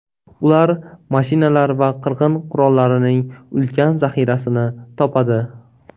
Ular mashinalar va qirg‘in qurollarining ulkan zaxirasini topadi.